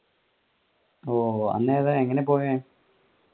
ഓ അന്ന് ഏതാ എങ്ങനെയാ പോയെ.